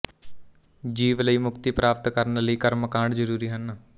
ਜੀਵ ਲਈ ਮੁਕਤੀ ਪ੍ਰਾਪਤ ਕਰਨ ਲਈ ਕਰਮ ਕਾਂਡ ਜ਼ਰੂਰੀ ਹਨ